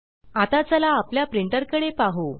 आता चला आपल्या प्रिंटर कडे पाहु